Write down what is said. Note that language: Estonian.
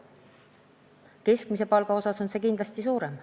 Keskmise palga kasv on kindlasti suurem.